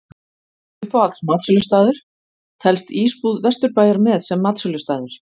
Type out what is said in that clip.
Uppáhalds matsölustaður: Telst Ísbúð Vesturbæjar með sem matsölustaður?